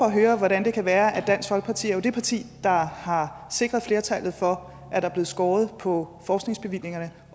at høre hvordan det kan være at dansk folkeparti jo er det parti der har sikret flertallet for at der er blevet skåret på forskningsbevillingerne